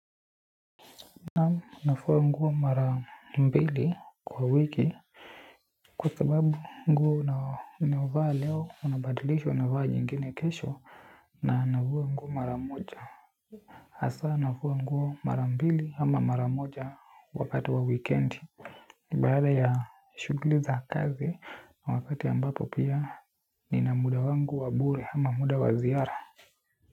Nafua nguo mara mbili kwa wiki. Kwa sababu nguo unaovaa leo unabadilisha unavaa nyingine kesho na nafua nguo mara moja. Hasaa nafua nguo mara mbili ama mara moja wakati wa weekend. Ni baada ya shughuli za kazi wakati ambapo pia nina muda wangu wa bure ama muda wa ziara.